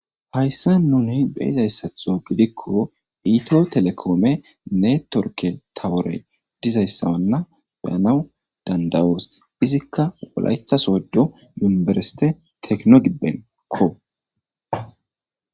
Hayssa nuni beyyizayssa giidikko ethio telecom network tawore gizayssa beyanaw danda'os izzikka wollaytta Sodo university gibbenkko.